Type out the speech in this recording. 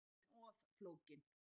Hún er orðin of flókin